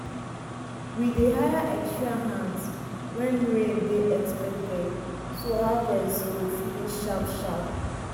we dey hire extra hands when rain dey expected so harvest go finish sharp sharp.